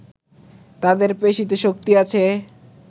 তাদের পেশিতে শক্তি আছে